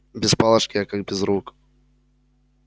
без палочки я как без рук